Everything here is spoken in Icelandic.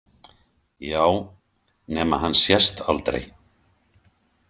Já, nema hann sést aldrei.